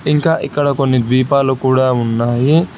ఇంకా ఇక్కడ కొన్ని ద్వీపాలు కూడా ఉన్నాయి.